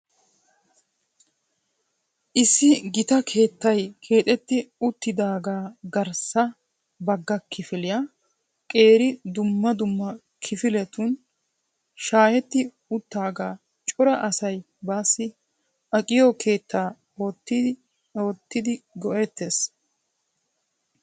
Issi gita keettay keexxeti uttidaaga garssa bagga kifiliyaa qeeri dumma dumma kifiletun shaaheti uttidaaga cora asay baassi aqqiyo keetta oottidi go"ettees.